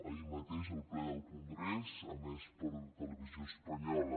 ahir mateix al ple del congrés emès per televisió espanyola